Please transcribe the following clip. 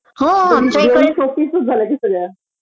दोन्ही शोपीसच झाल्या कि सगळ्या